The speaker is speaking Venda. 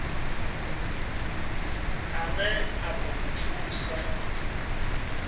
ane a ḓo mu thusa